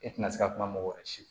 E tɛna se ka kuma mɔgɔ wɛrɛ si